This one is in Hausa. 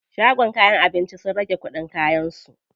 Shagon kayan abinci sun rage kuɗin kayan su.